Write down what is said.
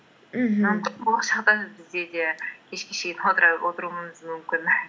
мхм болашақта бізде де кешке шейін отыруымыз мүмкін